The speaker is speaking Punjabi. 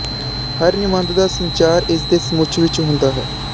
ਹਰ ਨਿਬੰਧ ਦਾ ਸੰਚਾਰ ਇਸਦੇ ਸਮੁੱਚ ਵਿਚ ਹੁੰਦਾ ਹੈ